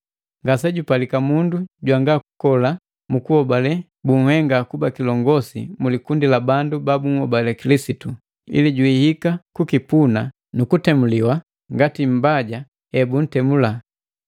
Ngasejupalika mundu jwanga kukola sukuhobale baahenga kuba kilongosi mu likundi la bandu babuhobale Kilisitu, ili jwiika kukipuna nu kutemuliwa ngati mbaja ebuntemuliwa.